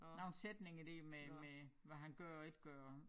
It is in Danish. Nogle sætninger der med med hvad han gør og ikke gør